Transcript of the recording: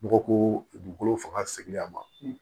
Nɔgɔ ko dugukolo fanga seginna a ma